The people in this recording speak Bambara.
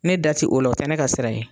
Ne da i o la , o tɛ ne ka sira ye.